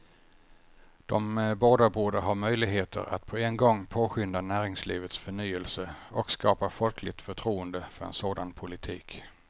De båda borde ha möjligheter att på en gång påskynda näringslivets förnyelse och skapa folkligt förtroende för en sådan politik.